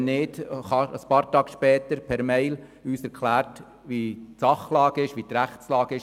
Wenn nicht, erhielten wir ein paar Tage später die Rechtslage per E-Mail erklärt.